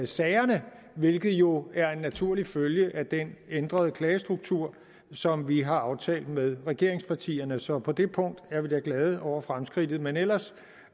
sagerne hvilket jo er en naturlig følge af den ændrede klagestruktur som vi har aftalt med regeringspartierne så på det punkt er vi da glade over fremskridtet men ellers